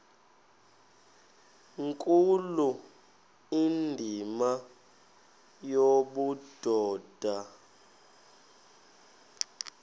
nkulu indima yobudoda